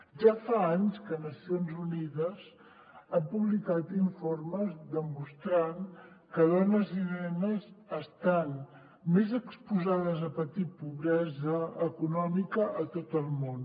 ja fa anys que nacions unides ha publicat informes demostrant que dones i nenes estan més exposades a patir pobresa econòmica a tot el món